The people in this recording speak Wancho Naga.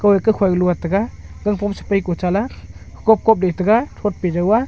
hoye kokhoi lot taiga gang phom sepai ko chala kakop kop le taiga thot pe jau aa.